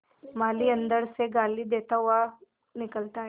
माली अंदर से गाली देता हुआ निकलता है